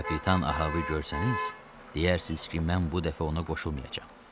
Kapitan Ahaı görsəniz, deyərsiniz ki, mən bu dəfə ona qoşulmayacam.